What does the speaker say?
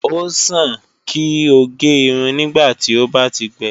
O sàn kí o gé irun nígbàtí ó bá ti gbẹ